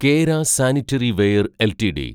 Kera sanitaryware LTD